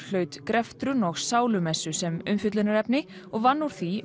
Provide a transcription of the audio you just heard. hlaut greftrun og sálumessu sem umfjöllunarefni og vann úr því